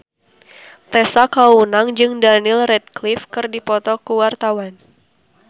Tessa Kaunang jeung Daniel Radcliffe keur dipoto ku wartawan